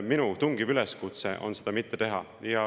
Minu tungiv üleskutse on seda mitte teha.